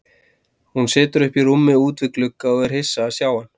Hún situr uppi í rúmi út við glugga og er hissa að sjá hann.